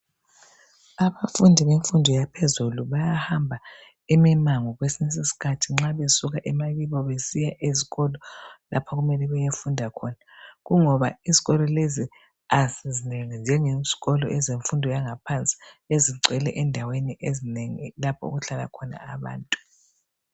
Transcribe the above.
Abafundi bemfundo yaphezulu bayahamba imimango kwesinye isikhathi nxa besuka emakibo lapho okumele bayefunda khona, kungoba izikolo lezo azinengi njengezikolo zemfundo yangaphansi, ezigcwele endaweni ezinengi lapho okuhlala khona abantu.